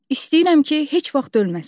İstəyirəm ki, heç vaxt ölməsin.